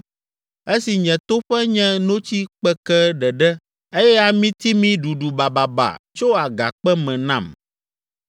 esi nye toƒe nye notsi kpeke ɖeɖe eye amitimi ɖuɖu bababa tso agakpe me nam.